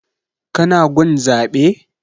Ka na gun zaɓe?